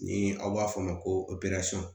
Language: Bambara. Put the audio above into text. Ni aw b'a fɔ o ma ko